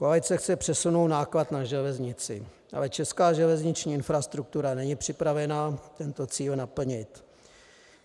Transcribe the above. Koalice chce přesunout náklad na železnici, ale česká železniční infrastruktura není připravena tento cíl naplnit.